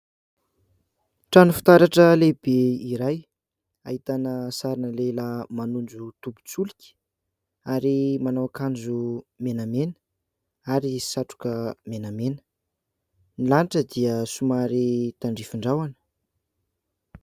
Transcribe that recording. Trano fitaratra lehibe iray, ahitana sarina lehilahy manondro tobin-tsolika. Ary manao akanjo menamena, ary satroka menamena. Ny lanitra dia somary tandrifin-drahona.